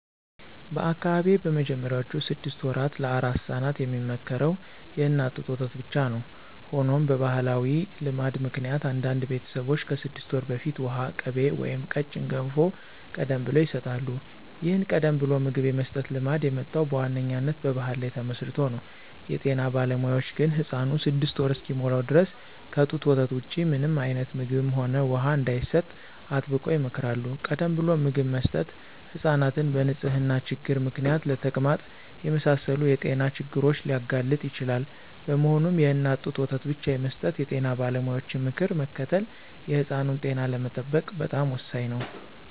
በአካባቢዬ በመጀመሪያዎቹ ስድስት ወራት ለአራስ ሕፃናት የሚመከረው የእናት ጡት ወተት ብቻ ነው። ሆኖም በባሕላዊ ልማድ ምክንያት አንዳንድ ቤተሰቦች ከስድስት ወር በፊት ውሃ፣ ቅቤ ወይም ቀጭን ገንፎ ቀደም ብለው ይሰጣሉ። ይህን ቀደም ብሎ ምግብ የመስጠት ልማድ የመጣው በዋነኛነት በባሕል ላይ ተመስርቶ ነው። የጤና ባለሙያዎች ግን ሕፃኑ ስድስት ወር እስኪሞላው ድረስ ከጡት ወተት ውጪ ምንም አይነት ምግብም ሆነ ውሃ እንዳይሰጥ አጥብቀው ይመክራሉ። ቀደም ብሎ ምግብ መስጠት ሕፃናትን በንጽህና ችግር ምክንያት ለተቅማጥ የመሳሰሉ የጤና ችግሮች ሊያጋልጥ ይችላል። በመሆኑም፣ የእናት ጡት ወተት ብቻ የመስጠት የጤና ባለሙያዎችን ምክር መከተል የሕፃኑን ጤና ለመጠበቅ በጣም ወሳኝ ነው።